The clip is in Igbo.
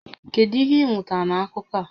Kedu ihe ị mụtara na akụkọ a?